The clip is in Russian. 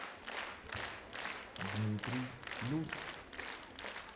дмитрий люст